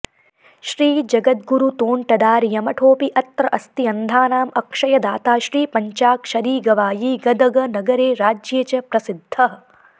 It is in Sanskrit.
श्री जगद्गुरुतोण्टदार्यमठोऽपि अत्र अस्ति अन्धानाम् अक्षयदाता श्री पञ्चाक्षरीगवायी गदगनगरे राज्ये च प्रसिद्धः